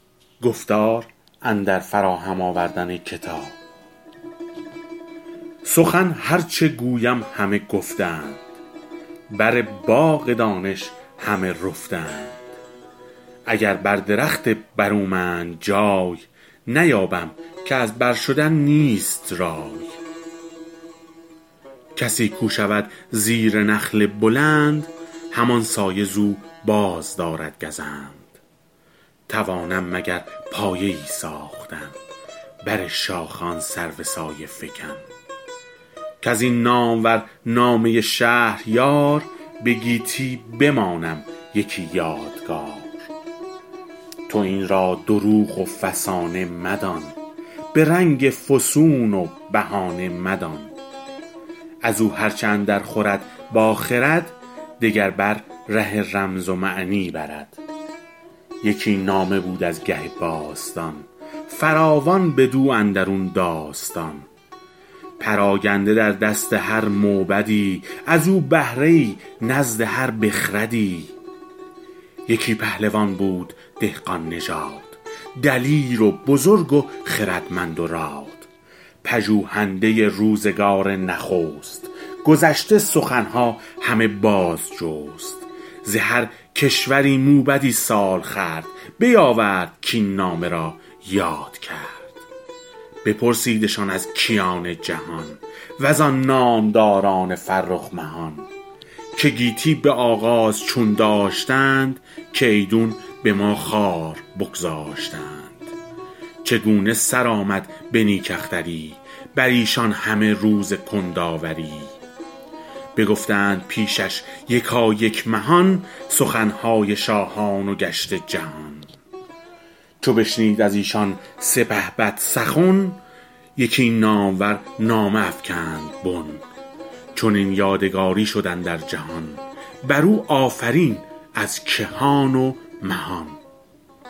سخن هر چه گویم همه گفته اند بر باغ دانش همه رفته اند اگر بر درخت برومند جای نیابم که از بر شدن نیست رای کسی کو شود زیر نخل بلند همان سایه ز او بازدارد گزند توانم مگر پایه ای ساختن بر شاخ آن سرو سایه فکن کز این نامور نامه شهریار به گیتی بمانم یکی یادگار تو این را دروغ و فسانه مدان به رنگ فسون و بهانه مدان از او هر چه اندر خورد با خرد دگر بر ره رمز و معنی برد یکی نامه بود از گه باستان فراوان بدو اندرون داستان پراگنده در دست هر موبدی از او بهره ای نزد هر بخردی یکی پهلوان بود دهقان نژاد دلیر و بزرگ و خردمند و راد پژوهنده روزگار نخست گذشته سخن ها همه باز جست ز هر کشوری موبدی سال خورد بیاورد کاین نامه را یاد کرد بپرسیدشان از کیان جهان وزان نامداران فرخ مهان که گیتی به آغاز چون داشتند که ایدون به ما خوار بگذاشتند چگونه سر آمد به نیک اختری بر ایشان همه روز کندآوری بگفتند پیشش یکایک مهان سخن های شاهان و گشت جهان چو بشنید از ایشان سپهبد سخن یکی نامور نامه افکند بن چنین یادگاری شد اندر جهان بر او آفرین از کهان و مهان